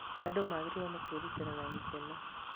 Andũ magĩrĩirũo nĩ kwĩrutĩra na gĩkeno.